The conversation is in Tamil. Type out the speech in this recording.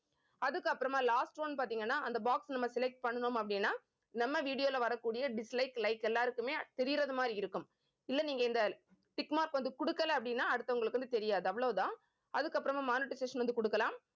அதுக்கப்புறமா last one பார்த்தீங்கன்னா அந்த box நம்ம select பண்ணணும் அப்படின்னா நம்ம video ல வரக்கூடிய dislike like எல்லாருக்குமே தெரியறது மாதிரி இருக்கும் இல்லை நீங்க இந்த tick mark வந்து கொடுக்கலை அப்படின்னா அடுத்தவங்களுக்கு வந்து தெரியாது அவ்வளவுதான் அதுக்கப்புறமா monetization வந்து கொடுக்கலாம்